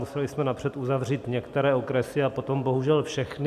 Museli jsme napřed uzavřít některé okresy a potom bohužel všechny.